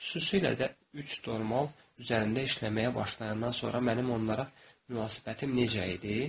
Xüsusilə də üç normal üzərində işləməyə başlayandan sonra mənim onlara münasibətim necə idi?